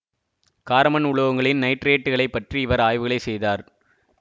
கார மண் உலோகங்களின் நைட்ரேட்டுகளை பற்றி இவர் ஆய்வுகளை செய்தார்